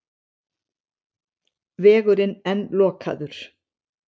Vegurinn enn lokaður